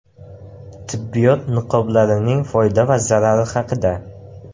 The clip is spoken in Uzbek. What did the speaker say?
Tibbiyot niqoblarining foyda va zarari haqida.